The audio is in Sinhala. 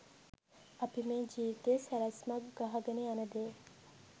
අපි මේ ජීවිතයේ සැලැස්මක් ගහගෙන යන දේ